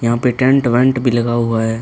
यहां पर टेंट वेंट भी लगा हुआ है।